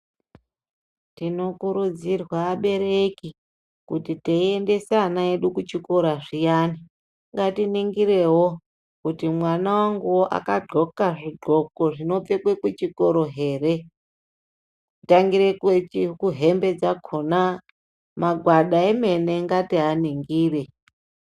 Tinokurudzirwa abereki kuti teendesa ana edu kuzvikora zviyani ngatiningirewo kuti mwana wangu akagonhka zvigonhko zvinopfekwa kuchikora here kutangira kuhembe dzakona magwada emene ngatimaningire.